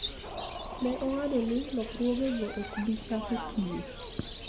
Ne ong'ado ni lokruogego ok bi chako tiyo